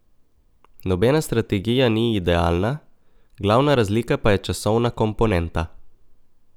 Nobena strategija ni idealna, glavna razlika pa je časovna komponenta.